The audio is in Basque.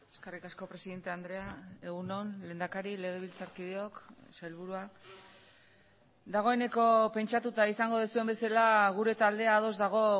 eskerrik asko presidente andrea egun on lehendakari legebiltzarkideok sailburua dagoeneko pentsatuta izango duzuen bezala gure taldea ados dago